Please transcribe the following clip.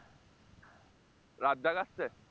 রাজ্জাক আসছে?